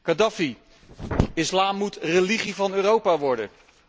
Khadafi Islam moet religie van Europa worden.